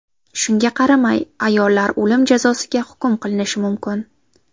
Shunga qaramay, ayollar o‘lim jazosiga hukm qilinishi mumkin.